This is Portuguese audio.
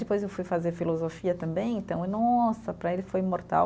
Depois eu fui fazer filosofia também, então, nossa, para ele foi mortal.